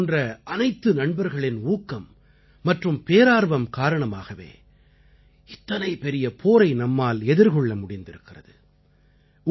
இவர்களைப் போன்ற அனைத்து நண்பர்களின் ஊக்கம் மற்றும் பேரார்வம் காரணமாகவே இத்தனை பெரிய போரை நம்மால் எதிர்கொள்ள முடிந்திருக்கிறது